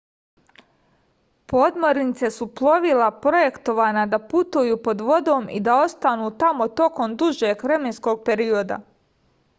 podmornice su plovila projektovana da putuju pod vodom i da ostanu tamo tokom dužeg vremenskog perioda